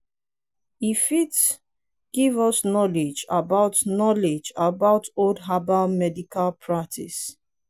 e fit give us knowledge about knowledge about old herbal medical practice